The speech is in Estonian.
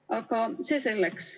Aga see selleks.